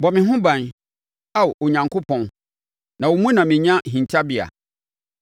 Bɔ me ho ban, Ao Onyankopɔn, na wo mu na menya hintabea.